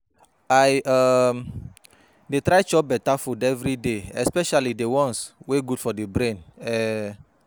I um dey try chop beta food everyday especially the ones wey good for the brain um